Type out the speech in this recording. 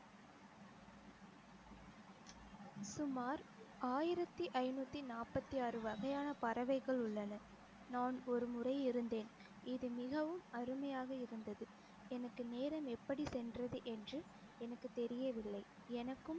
சுமார் ஆயிரத்தி ஐநூத்தி நாப்பத்தி ஆறு வகையான பறவைகள் உள்ளன நான் ஒருமுறை இருந்தேன் இது மிகவும் அருமையாக இருந்தது எனக்கு நேரம் எப்படி சென்றது என்று எனக்கு தெரியவில்லை எனக்கும்